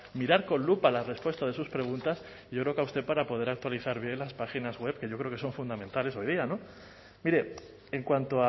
mirar con lupa la respuesta de sus preguntas y yo creo que a usted para poder actualizar las páginas web que yo creo que son fundamentales hoy día mire en cuanto